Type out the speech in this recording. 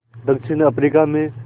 दक्षिण अफ्रीका में